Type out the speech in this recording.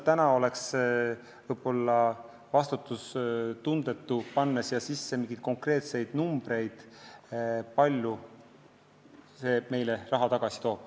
Täna oleks lihtsalt võib-olla vastutustundetu panna kirja mingeid konkreetseid numbreid, kui palju see meile raha tagasi toob.